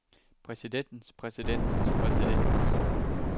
præsidentens præsidentens præsidentens